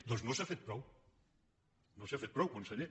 doncs no s’hi ha fet prou no s’hi ha fet prou conseller